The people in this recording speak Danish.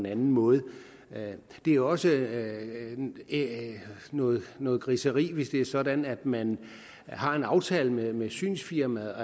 anden måde det er også noget noget griseri hvis det er sådan at man har en aftale med synsfirmaet